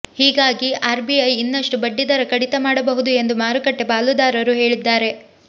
ಹೀಗಾಗಿ ಆರ್ಬಿಐ ಇನ್ನಷ್ಟು ಬಡ್ಡಿದರ ಕಡಿತ ಮಾಡಬಹುದು ಎಂದು ಮಾರುಕಟ್ಟೆ ಪಾಲುದಾರರು ಹೇಳಿದ್ದಾರೆ